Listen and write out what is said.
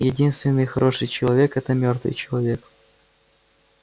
единственный хороший человек это мёртвый человек